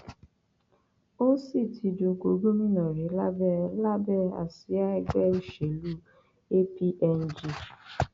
ó sì ti dupò gómìnà rí lábẹ lábẹ àsíá ẹgbẹ òṣèlú apng